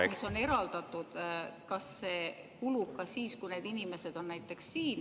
… mis on eraldatud, kulub ka siis, kui need inimesed on näiteks siin.